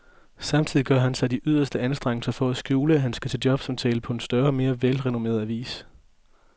Samtidig gør han sig de yderste anstrengelser for at skjule, at han skal til jobsamtale på en større og mere velrenommeret avis.